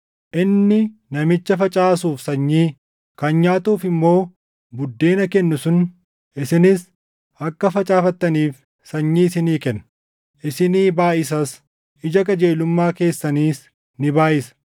Inni namicha facaasuuf sanyii, kan nyaatuuf immoo buddeena kennu sun isinis akka facaafattaniif sanyii isinii kenna; isinii baayʼisas; ija qajeelummaa keessaniis ni baayʼisa.